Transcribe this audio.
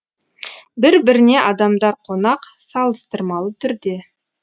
бір біріне адамдар қонақ салыстырмалы түрде